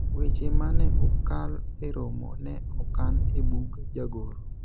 weche mane okal e romo ne okan e bug jagoro